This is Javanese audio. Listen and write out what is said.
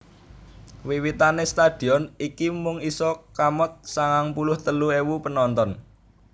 Wiwitane stadion iki mung isa kamot sangang puluh telu ewu penonton